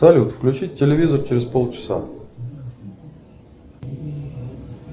салют включить телевизор через полчаса